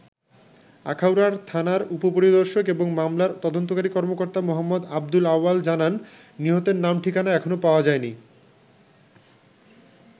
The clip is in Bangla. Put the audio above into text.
আখাউড়ার থানার উপপরিদর্শক এবং মামলার তদন্তকারী কর্মকর্তা মো. আবদুল আওয়াল জানান, নিহতের নাম ঠিকানা এখনো পাওয়া যায়নি।